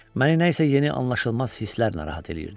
Məni nəsə yeni, anlaşılmaz hisslər narahat eləyirdi.